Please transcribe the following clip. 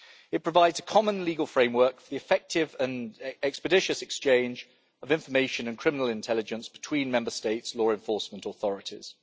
It provides a common legal framework for the effective and expeditious exchange of information and criminal intelligence between Member States' law enforcement authorities.